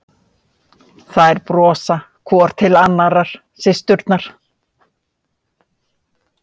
Þær brosa hvor til annarrar, systurnar.